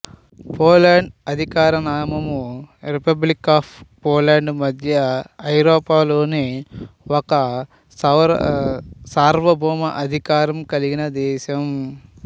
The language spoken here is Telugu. పోలాండ్ అధికార నామము రిపబ్లిక్ ఆఫ్ పోలాండ్ మధ్య ఐరోపాలోని ఒక సార్వభౌమాధికారం కలిగిన దేశం